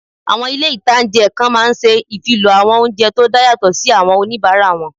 Àwọn ilé-ìtánjẹ kan máa n ṣe ìfilọ́ àwọn oúnjẹ tó dá yàtọ̀ sí àwọn oníbàárà wọn